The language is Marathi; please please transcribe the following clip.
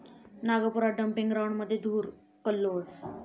नागपुरात डम्पिंग ग्राऊंडमध्ये धुर'कल्लोळ'